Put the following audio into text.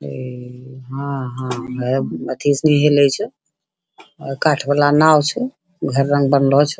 इ हाँ हाँ अथि उसमे हेलै छो अ काठ वाला नाओ छो | घर रंग बनलो छो।